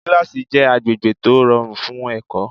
Kílásì jẹ́ agbègbè tó rọrùn fún ẹ̀kọ́